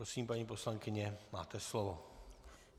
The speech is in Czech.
Prosím, paní poslankyně, máte slovo.